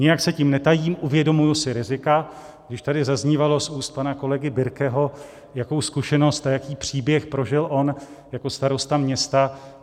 Nijak se tím netajím, uvědomuji si rizika, když tady zaznívalo z úst pana kolegy Birkeho, jakou zkušenost a jaký příběh prožil on jako starosta města.